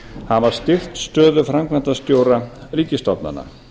hafa styrkt stöðu framkvæmdastjóra ríkisstofnana